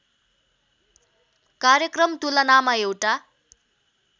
कार्यक्रम तुलनामा एउटा